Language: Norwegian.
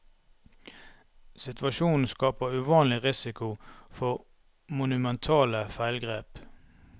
Situasjonen skaper uvanlig risiko for monumentale feilgrep.